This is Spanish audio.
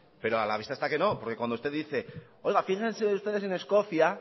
pero a la vista está que no porque cuando usted dice oiga fíjense ustedes en escocia